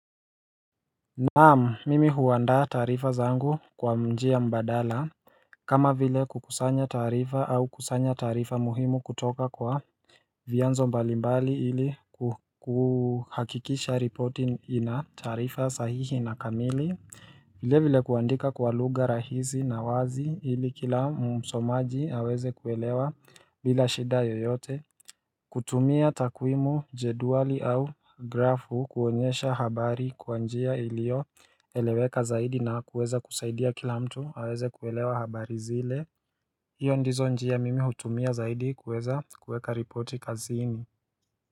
Naam, mimi huandaa tarifa zangu kwa mjia mbadala kama vile kukusanya tarifa au kusanya tarifa muhimu kutoka kwa vianzo mbalimbali ili kuhakikisha ripoti ina taarifa sahihi na kamili vile vile kuandika kwa luga rahizi na wazi ili kila msomaji aweze kuelewa bila shida yoyote kutumia takwimu, jeduali au grafu kuonyesha habari kwa njia ilio eleweka zaidi na kuweza kusaidia kila mtu aweze kuelewa habari zile Hio ndizo njia mimi hutumia zaidi kuweza kuweka ripoti kazini.